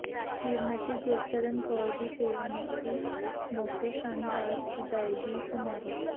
ਸੀ੍ਰਮਤੀ ਗੁਰਸ਼ਰਨ ਕੌਰ ਦੀ ਸੇਵਾ ਮੁਕਤੀ ਮੌਕੇ ਸ਼ਾਨਦਾਰ ਵਿਦਾਇਗੀ ਸਮਾਰੋਹ